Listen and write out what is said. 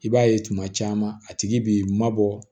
I b'a ye tuma caman a tigi b'i mabɔ